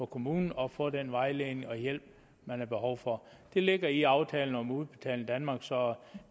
kommunen og få den vejledning og hjælp man har behov for det ligger i aftalen om udbetaling danmark så